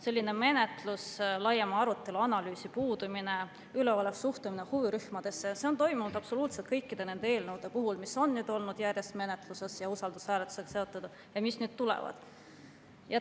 Selline menetlus, laiema arutelu ja analüüsi puudumine, üleolev suhtumine huvirühmadesse – see on toimunud absoluutselt kõikide nende eelnõude puhul, mis on nüüd olnud järjest menetluses, mis on olnud usaldushääletusega seotud või mis nüüd veel siia tulevad.